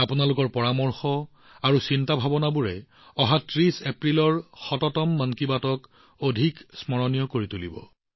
আপোনালোকৰ পৰামৰ্শ আৰু ধাৰণাবোৰে ৩০ এপ্ৰিলত শততম ১০০ তম মন কী বাতক অত্যন্ত স্মৰণীয় কৰি তুলিব